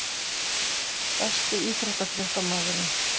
Besti íþróttafréttamaðurinn?